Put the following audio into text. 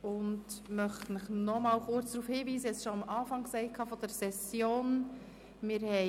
Ich möchte Sie noch einmal kurz auf Folgendes hinweisen, wie ich dies am Anfang der Session bereits erwähnt habe: